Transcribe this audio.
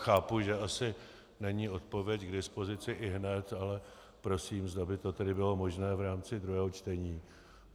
Chápu, že asi není odpověď k dispozici ihned, ale prosím, zda by to tedy bylo možné v rámci druhého čtení.